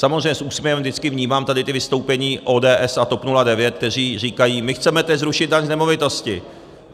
Samozřejmě s úsměvem vždycky vnímám tady ta vystoupení ODS a TOP 09, kteří říkají - my chceme teď zrušit daň z nemovitosti.